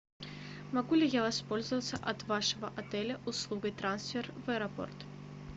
могу ли я воспользоваться от вашего отеля услугой трансфер в аэропорт